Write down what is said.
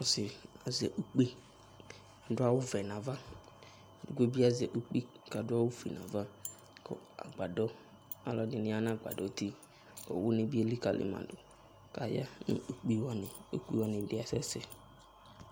Ɔsɩ azɛ ukpi, adu awuvɛ nu ava Edigbo bɩ azɛ ukpi kʋ adu awufue nʋ ava Kʋ agbadɔ, alʋ edini ya nʋ agbadɔ ayʋ uti Owu ni bɩ elikǝli ma dʋ, kʋ aya nʋ ukpi wani Ukpi wani bɩ asɛ sɛ